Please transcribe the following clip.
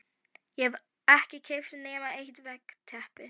Ég hef ekki keypt nema eitt veggteppi